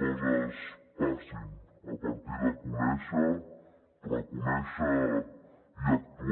coses passin a partir de conèixer reconèixer i actuar